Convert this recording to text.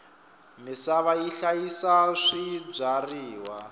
misava yi hlayisa swibyariwa